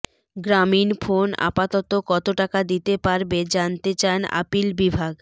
গ্রামীণফোন আপাতত কত টাকা দিতে পারবে জানতে চান আপিল বিভাগ